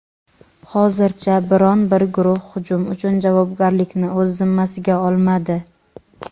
Hozircha biron bir guruh hujum uchun javobgarlikni o‘z zimmasiga olmadi.